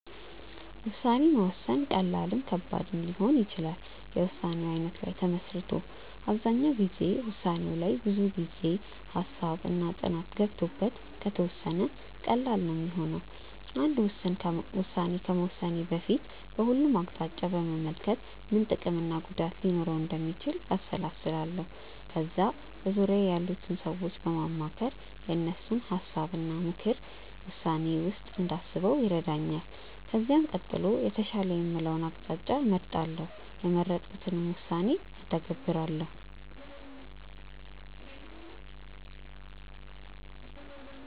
ውሳኔ መወሰን ቀላልም ከባድም ሊሆን ይችላል የውሳኔው አይነት ላይ ተመስርቶ። አብዛኛው ጊዜ ውሳኔው ላይ ብዙ ጊዜ፣ ሃሳብ እና ጥናት ገብቶበት ከተወሰነ ቀላል ነው ሚሆነው። አንድ ውስን ከመወሰኔ በፊት በሁሉም አቅጣጫ በመመልከት ምን ምን ጥቅም እና ጉዳት ሊኖረው እንደሚችል አሰላስላለው። ከዛ በዙርያዬ ያሉትን ሰዎች በማማከር የእነሱን ሀሳብ እና ምክርን ውሳኔዬ ውስጥ እንዳስበው ይረዳኛል። ከዚህም ቀጥሎ የተሻለ የምለውን አቅጣጫ እመርጣለው። የመረጥኩትንም ውሳኔ እተገብራለው።